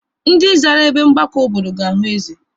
Ndị zara ebe mgbakọ obodo ga-ahụ eze.